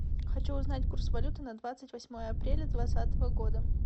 хочу узнать курс валюты на двадцать восьмое апреля двадцатого года